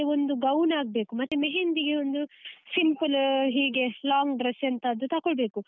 ಒಂದು gown ಆಗ್ಬೇಕು ಮತ್ತೆ mehendi ಗೆ ಒಂದು simple ಹೀಗೆ long dress ಎಂತಾದ್ರೂ ತಕೊಳ್ಬೇಕು.